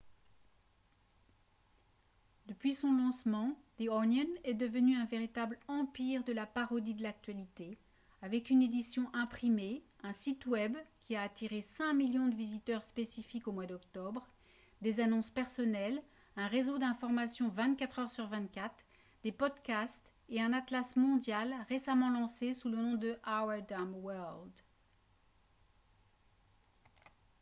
depuis son lancement the onion est devenu un véritable empire de la parodie de l'actualité avec une édition imprimée un site web qui a attiré 5 000 000 de visiteurs spécifiques au mois d'octobre des annonces personnelles un réseau d'information 24 heures sur 24 des podcasts et un atlas mondial récemment lancé sous le nom de « our dumb world »